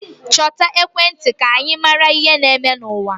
Chọta ekwentị ka ị mara ihe na-eme n'ụwa.